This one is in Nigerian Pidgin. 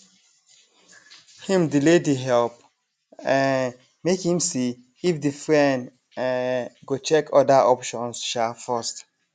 him delay the help um make him see if the friend um go check other options um first